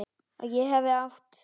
Að ég hafi átt.?